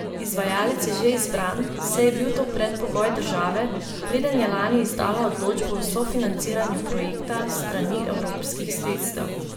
Izvajalec je že izbran, saj je bil to predpogoj države, preden je lani izdala odločbo o sofinanciranju projekta s strani evropskih sredstev.